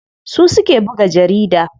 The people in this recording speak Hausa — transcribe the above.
Su suke buga jarida.